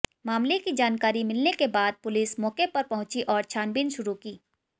मामले की जानकारी मिलने के बाद पुलिस मौके पर पहुंची और छानबीन शुरू की